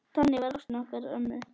Þannig var ástin okkar ömmu.